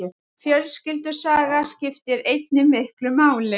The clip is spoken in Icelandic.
Fjölskyldusaga skiptir einnig miklu máli.